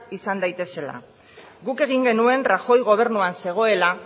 izan daitezela guk egin genuen rajoy gobernuan zegoela